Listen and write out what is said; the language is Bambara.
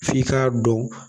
F'i k'a dɔn